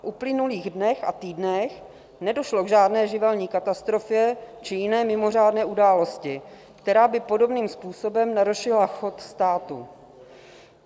V uplynulých dnech a týdnech nedošlo k žádné živelní katastrofě či jiné mimořádné události, která by podobným způsobem narušila chod státu.